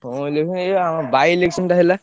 ହଁ election ଏଇ ଆ by-election ଟା ହେଲା।